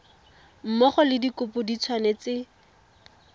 mmogo le dikopo di tshwanetse